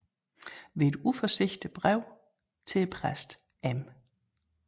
Ved et uforsigtigt Brev til Præsten M